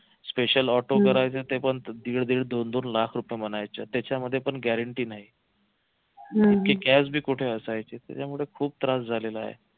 special auto करायचं ते पण दीड दीड दोन दोन लाख रुपये म्हणायचे त्याच्यामध्ये पण guarantee नाही इतकी cash पण कुठे असायची त्याच्यामुळे खूप त्रास झालेला आहे